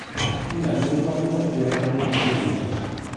афина мне нужна помощь при оформлении кредита